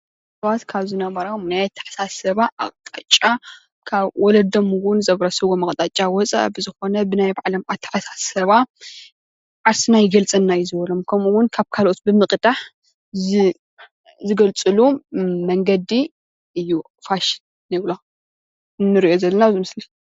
ደቂ ሰባት ካብ ዝነበሮም ናይ ኣታሓሳስባ ኣቕጣጫ ካብ ወለዶም እውን ዘውረስዎም ኣቕጣጫ ወፃእ ዝኾነ ብናይ ባዕሎም ኣተሓሳስባ ዓርስና ይገልፀና እዩ ዝበሎም ከምኡ እውን ካብ ካልኦት ብምቕዳሕ ዝገልፅሉ መንገዲ እዩ ፋሽን ንብሎ እዚ ንርእዮ ዘለና ኣብዚ ምስሊ